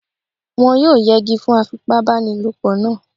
Wọ́n yóò yẹgi fún afipábanílòpọ̀ náà